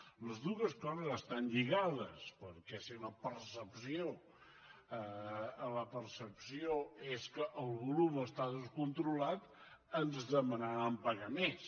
totes dues coses estan lligades perquè si la percepció és que el volum està descontrolat ens demanaran pagar més